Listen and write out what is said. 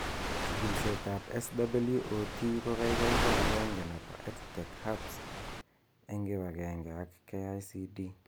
Chikilishet ab SWOT ko kikiai ko agenge nebo EdTech Hub's eng kibagenge ak KICD